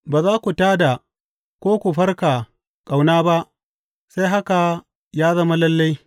Ba za ku tā da ko ku farka ƙauna ba sai haka ya zama lalle.